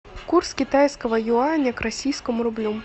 курс китайского юаня к российскому рублю